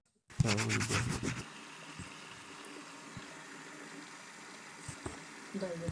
mbooi embusha ,dudui naanya embeku, naa ntoyio ilpaek mpaka paasenti tomon okuni mpaka tomon onguan tewueji nashal